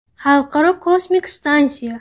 Xalqaro kosmik stansiya.